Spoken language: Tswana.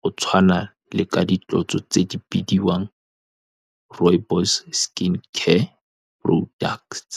go tshwana le ka ditlotso tse di bidiwang, rooibos-e skin care products.